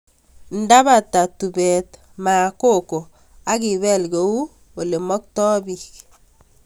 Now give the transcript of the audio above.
Ndapata tupet maa koko ak ipel kou ole maktoi piik